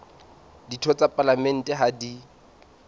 ditho tsa palamente ha di